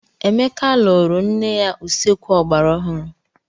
Emeka lụrụ ńne ya usekwu ogbara ọhụụ.